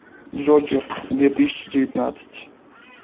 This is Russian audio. джокер две тысячи девятнадцать